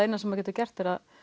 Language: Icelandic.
eina sem maður getur gert að